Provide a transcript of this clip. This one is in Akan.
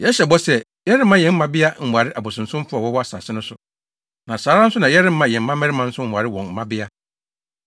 “Yɛhyɛ bɔ sɛ, yɛremma yɛn mmabea nware abosonsomfo a wɔwɔ asase no so, na saa ara nso na yɛremma yɛn mmabarima nso nware wɔn mmabea.